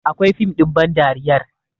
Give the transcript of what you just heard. Akwai fim ɗin bandariyar